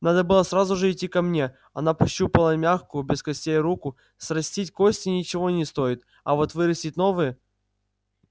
надо было сразу же идти ко мне она пощупала мягкую без костей руку срастить кости ничего не стоит а вот вырастить новые